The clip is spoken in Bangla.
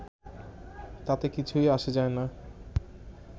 তাতে কিছুই আসে যায় না